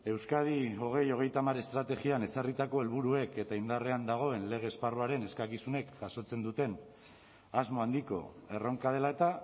euskadi bi mila hogeita hamar estrategian ezarritako helburuek eta indarrean dagoen lege esparruaren eskakizunek jasotzen duten asmo handiko erronka dela eta